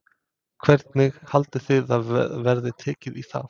Hvernig haldið þið að verði tekið í það?